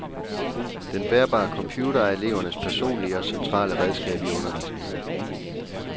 Den bærbare computer er elevernes personlige og centrale redskab i undervisningen.